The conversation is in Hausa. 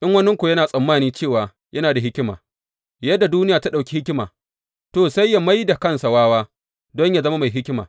In waninku yana tsammani cewa yana da hikima, yadda duniya ta ɗauki hikima, to, sai ya mai da kansa wawa don yă zama mai hikima.